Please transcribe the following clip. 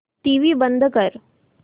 TV बंद कर